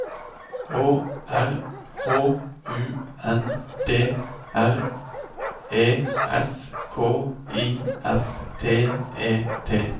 Å R H U N D R E S K I F T E T